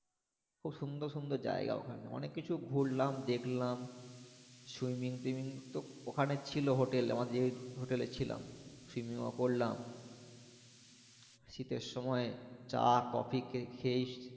খুব সুন্দর সুন্দর জাইগা ওখানে অনেক কিছু ঘুরলাম দেখলাম swimming twimming তো ওখানে ছিল hotel এ আমরা যে hotel এ ছিলাম swimming ও করলাম শীতের সময়ই চা কফি খেয়েই